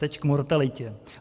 Teď k mortalitě.